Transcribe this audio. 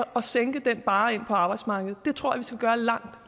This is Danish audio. sænke den barre ind på arbejdsmarkedet det tror jeg vi skal gøre langt